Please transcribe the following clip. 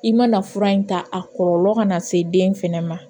I mana fura in ta a kɔlɔlɔ kana na se den fɛnɛ ma